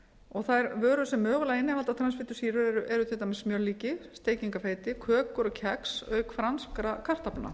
og þær vörur sem mögulega innihalda transfitusýru eru til dæmis smjörlíki steikingarfeiti kökur og kex auk franskra kartaflna